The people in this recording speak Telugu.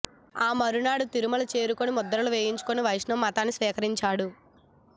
ఆ మరునాడు తిరుమల చేరుకొని ముద్రలు వేయించుకొని వైష్ణవ మతాన్ని స్వీకరించాడు